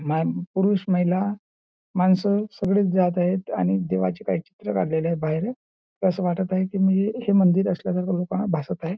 पुरुष महिला माणस सगळी जात आहेत आणि देवाची बाहेर अस वाटत आहे म्हणजे हे मंदिर असल्या सारखे लोकांना भासत आहे.